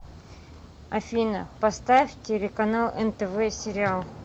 афина поставь телеканал нтв сериал